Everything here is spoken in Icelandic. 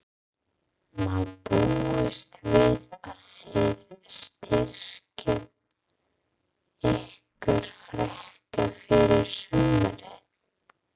Má búast við að þið styrkið ykkur frekar fyrir sumarið?